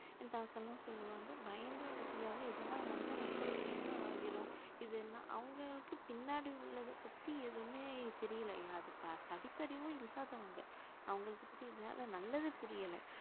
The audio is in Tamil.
என் தாத்தா எல்லாம் சொல்லுவாங்க பயந்து என்ன செஞ்சாங்க இதெல்லாம் வந்தா மக்களுக்கு என்ன ஆகிரும் இதெல்லாம் அவங்களுக்கு பின்னாடி உள்ளதைப் பத்தி எதுவுமே தெரியலையா அது ப~ படிப்பறிவும் இல்லாதவங்க அவங்களுக்கு புரியறதுனால நல்லதே புரியல